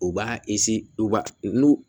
U b'a u b'a n'u